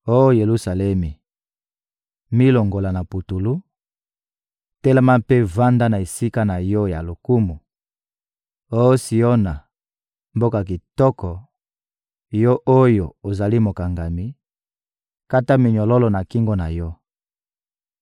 Oh Yelusalemi, milongola na putulu, telema mpe vanda na esika na yo ya lokumu! Oh Siona, mboka kitoko, yo oyo ozali mokangami, kata minyololo na kingo na yo!